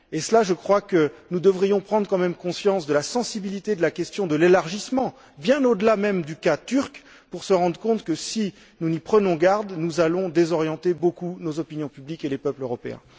Or, je crois que nous devrions quand même prendre conscience de la sensibilité de la question de l'élargissement, bien au delà même du cas turc, pour nous rendre compte que, si nous n'y prenons garde, nous allons beaucoup désorienter nos opinions publiques et les peuples européens.